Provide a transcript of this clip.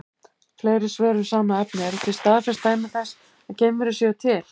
Fleiri svör um sama efni: Eru til staðfest dæmi þess að geimverur séu til?